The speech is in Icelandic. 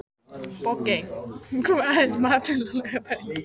Bogey, hvað er í matinn á laugardaginn?